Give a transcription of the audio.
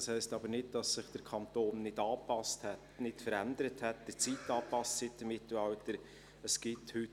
Das heisst aber nicht, dass sich der Kanton nicht angepasst, nicht verändert und der Zeit seit dem Mittelalter angepasst hat.